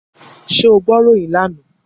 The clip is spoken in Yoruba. Ṣé o gbọ́ ìròyìn lánàá?